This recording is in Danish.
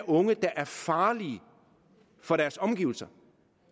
unge der er farlige for deres omgivelser